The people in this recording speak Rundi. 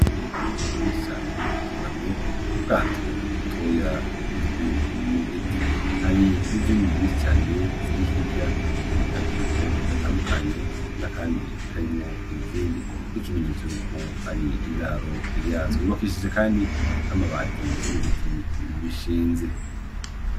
Inkoko nyinshi cane zunamye mu bwato butoya bukozwe mu giti. Hari n'izindi nyinshi cane ziri hirya mu kayungiro gatandukanye n'akandi karimwo izindi, nk'ikimenyetso y'uko ari indaro yazo. Yubakishije kandi n'amabati n'ibiti bishinze.